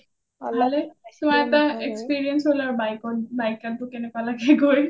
ভালে তোমাৰ এটা experience হ’ল আৰু bike ride ত কেনেকুৱা লাগে গৈ